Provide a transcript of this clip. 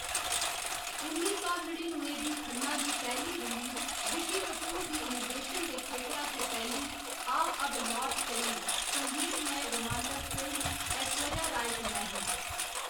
उन्नी सौ नड़िनुए च खन्ना दी पैह्‌ली रिलीज रिशी कपूर दी निर्देशन दे खेतरा च पैह्‌‌ली, आ अब लौट चलें संगीतमय रोमांटक फिल्म, ऐश्वर्या राय कन्नै ही।